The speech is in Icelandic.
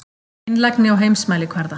Einlægni á heimsmælikvarða.